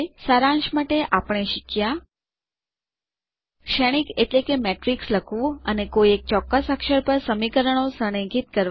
સારાંશ માટે આપણે શીખ્યા શ્રેણીક એટલે કે મેટ્રિક્સ લખવું અને કોઈ એક ચોક્કસ અક્ષર પર સમીકરણો સંરેખિત કરવા